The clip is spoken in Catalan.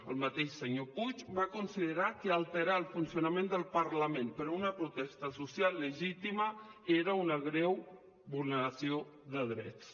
el mateix senyor puig va considerar que alterar el funcionament del parlament per una protesta social legítima era una greu vulne·ració de drets